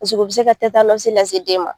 Musoko bɛ se ka tetanɔsi lase den ma.